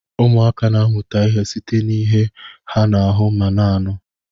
ụmụaka na-amụta ihe site n'ihe ha na-ahụ ma na-anụ